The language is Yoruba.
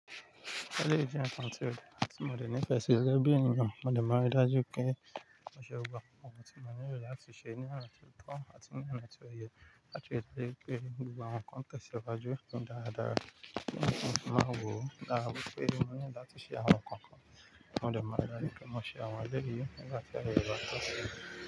Eléyìí jẹ́ ǹkan tí mo dẹ nífẹ̀ sí gẹ́gẹ́ bí ènìyàn, mo dẹ má rí dájú pé mo ṣé gbogbo àwọn ǹkan tí mo nílò láti ṣe ní ọ̀nà ti o tọ́ àti ní ọ̀nà ti o yẹ láti rí i pé gbogbo àwọn nkàn tẹ̀ sí iwájú ní dáradára. Kí nǹkan máa wọ̀, dára pé mo need láti ṣe àwọn nkàn kan, mo dẹ má ri dájú pé mọ́ ṣe àwọn èléyìí nígbà tí ààye rẹ bá tó.